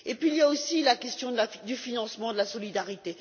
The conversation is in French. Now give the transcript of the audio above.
Il y a aussi la question du financement de la solidarité.